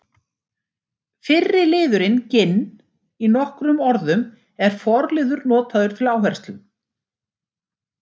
Fyrri liðurinn ginn- í nokkrum orðum er forliður notaður til áherslu.